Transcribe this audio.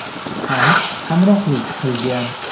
ham hamrohlik qilgan.